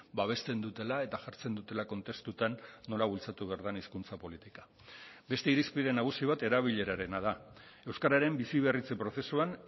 babesten dutela eta jartzen dutela kontestutan nola bultzatu behar den hizkuntza politika beste irizpide nagusi bat erabilerarena da euskararen biziberritze prozesuan